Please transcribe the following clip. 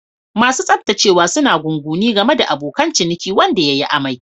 Masu tsaftacewa suna gunaguni game da abokin ciniki wanda ya yi amai.